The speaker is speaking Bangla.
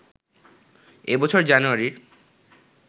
এ বছর জানুয়ারির